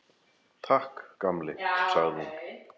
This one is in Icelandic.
Takk, gamli, sagði hún.